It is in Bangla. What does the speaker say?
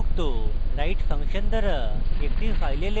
write ফাংশন দ্বারা একটি file লেখা